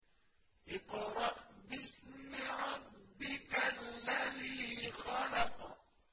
اقْرَأْ بِاسْمِ رَبِّكَ الَّذِي خَلَقَ